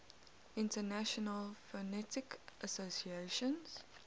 international phonetic association